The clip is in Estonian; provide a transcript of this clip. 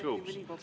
Aitäh!